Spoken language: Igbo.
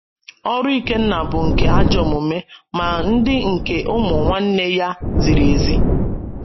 “ Ọrụ Ikenna bụ nke ajọ omume, ma ndị nke ụmụ nwanne ya ziri ezi ”